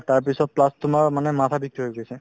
তাৰপিছত plus তোমাৰ মানে মাথাৰ বিষতোও উঠিছে